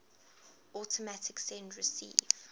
automatic send receive